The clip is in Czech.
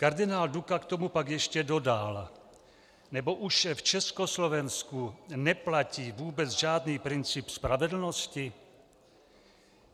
Kardinál Duka k tomu pak ještě dodal: "Nebo už v Československu neplatí vůbec žádný princip spravedlnosti?"